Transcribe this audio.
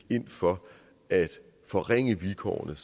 ind for at forringe vilkårene